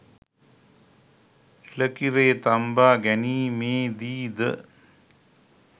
එළකිරේ තම්බා ගැනීමේ දී ද